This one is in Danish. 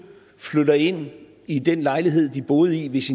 flytter ind i den lejlighed de boede i hvis